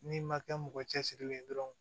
N'i ma kɛ mɔgɔ cɛsirilen ye dɔrɔn